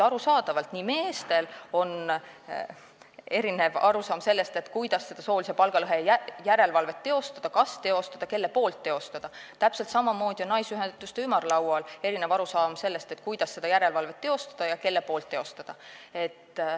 Arusaadavalt, nagu meestel on erinev arusaam sellest, kuidas soolise palgalõhe järelevalvet teha, kas teha ja kelle poolt, täpselt samamoodi on naisteühenduste ümarlaual erinev arusaam sellest, kuidas ja kes seda järelevalvet peaks tegema.